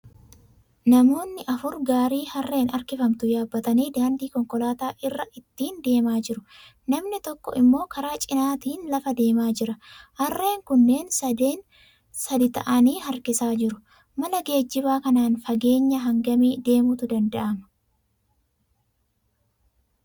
Namootni afur gaarii harreen harkifamtu yaabbatanii daandii konkolaataa irra ittiin deemaa jiru. Namni tokko immoo karaa cinaatiin lafa deemaa jira. Harreen kunneen sadii ta'anii harkisaa jiru. Mala geejjibaa kanaan fageenya hangamii deemuutu danda'ama?